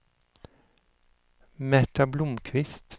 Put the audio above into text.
Märta Blomkvist